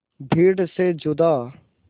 भीड़ से जुदा